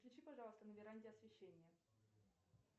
включи пожалуйста на веранде освещение